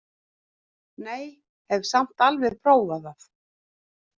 Nei, hef samt alveg prófað það!